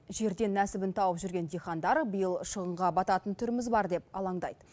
жерден нәсібін тауып жүрген диқандар биыл шығынға батататын түріміз бар деп алаңдайды